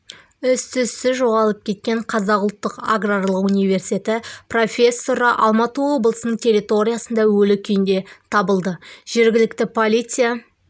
із-түзсіз жоғалып кеткен қазақ ұлттық аграрлық университеті профессоры алматы облысының территорисында өлі күйінде табылды жергілікті полиция